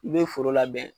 I bɛ foro labɛn